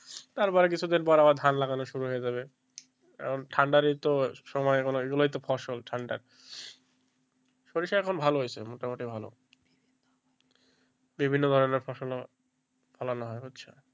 তারপর আবার কিছুদিন পরে আবার ধান লাগানো শুরু হয়ে যাবে ঠান্ডার এইতো সময় এগুলোই তো ফসল ঠান্ডার সরিষা এখন ভালো হয়েছে মোটামুটি ভালো বিভিন্ন ধরনের ফসল ফলানো হচ্ছে,